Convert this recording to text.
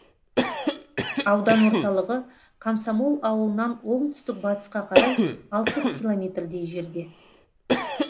аудан орталығы комсомол ауылынан оңтүстік батысқа қарай алпыс километрдей жерде